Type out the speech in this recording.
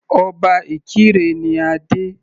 Obá Ìkirè ní adé.